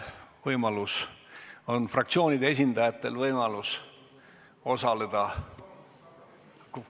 Nüüd on fraktsioonide esindajatel võimalus osaleda ...